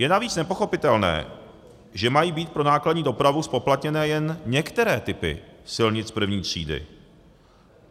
Je navíc nepochopitelné, že mají být pro nákladní dopravu zpoplatněné jen některé typy silnic první třídy.